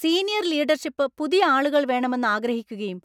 senior leadership പുതിയ ആളുകൾ വേണമെന്ന് ആഗ്രഹിക്കുകയും